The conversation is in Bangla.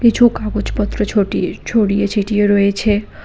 কিছু কাগজপত্র ছটি ছড়িয়ে ছিটিয়ে রয়েছে।